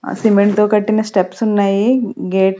ఆ సిమెంట్ తో కట్టిన స్టెప్స్ ఉన్నాయి గేట్ .